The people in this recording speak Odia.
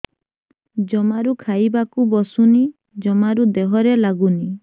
ଜମାରୁ ଖାଇବାକୁ ବସୁନି ଜମାରୁ ଦେହରେ ଲାଗୁନି